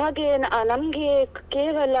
ಹಾಗೆ ಅಹ್ ನಮ್ಗೆ ಕೇವಲ